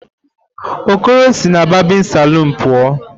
Okoro si na barbịn salụn pụọ.